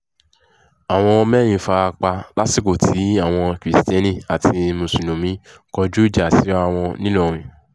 àwọn mẹ́rin fara pa lásìkò tí àwọn kristiẹni àti mùsùlùmí kọjú ìjà síra wọn ńìlọrin